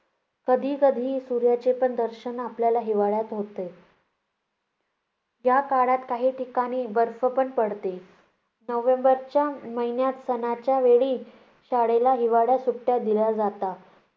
कधीकधी सूर्याचेपण दर्शन आपल्याला हिवाळ्यात होते. याकाळात काही ठिकाणी बर्फ पण पडते. नोव्हेंबरच्या महिन्यात सणाच्या वेळी शाळेला हिवाळी सुट्ट्या दिल्या जातात.